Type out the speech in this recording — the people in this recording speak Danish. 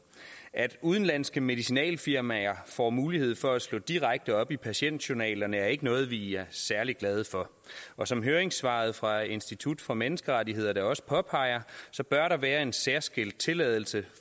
at udenlandske medicinalfirmaer får mulighed for at slå direkte op i patientjournalerne er ikke noget vi er særlig glade for og som høringssvaret fra institut for menneskerettigheder da også påpeger så bør der være en særskilt tilladelse